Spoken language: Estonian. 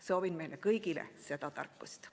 Soovin meile kõigile seda tarkust.